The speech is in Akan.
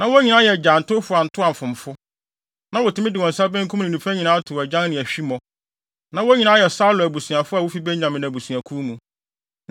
Na wɔn nyinaa yɛ agyantowfo antoamfomfo. Na wotumi de wɔn nsa benkum ne nifa nyinaa tow agyan ne ahwimmo. Na wɔn nyinaa yɛ Saulo abusuafo a wofi Benyamin abusuakuw mu.